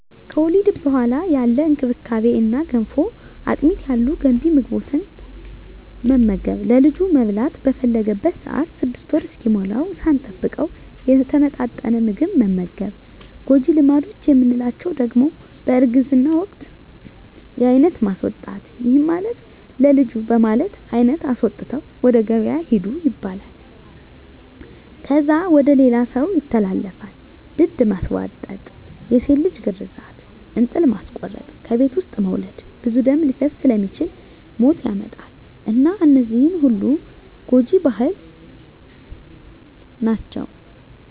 ከወሊድ በኋላ ያለ እንክብካቤ እነ ገንፎ፣ አጥሚት ያሉ ገንቢ ምግቦትን መመገብ፣ ለልጁ መብላት በፈለገበት ሰአት 6 ወር እስኪሞላዉ ሳንጠብቅ የተመጣጠነ ምግብ መመገብ። ጎጂ ልማዶች የምንላቸዉ ደሞ በእርግዝና ወቅት የአይነት ማስወጣት ይህም ማለት ለልጁ በማለት አይነት አስወጥተዉ ወደ ገበያ ሂዱ ይባላል። ከዛ ወደ ሌላ ሰዉ ይተላለፋል፣ ድድ ማስቧጠጥ፣ የሴት ልጅ ግርዛት፣ እንጥል ማስቆረጥ፣ ከቤት ዉስጥ መዉለድ ብዙ ደም ሊፈስ ስለሚችል ሞት ያመጣል እና እነዚህ ሁሉ ጎጂ ባህል ናቸዉ።